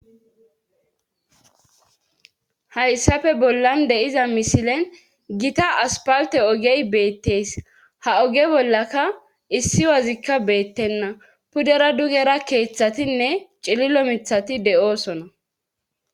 Hayssafe bollan deiza misilen gita aspalte ogey beetteys haoge bollaka issi wazikka beettenna pudera dugera keeththatinne cililo mithati de'oosona.